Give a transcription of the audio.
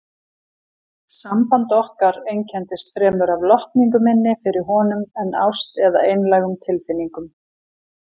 Samband okkar einkenndist fremur af lotningu minni fyrir honum en ást eða einlægum tilfinningum.